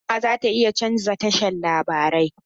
Hukuma za ta canza tashan larabai.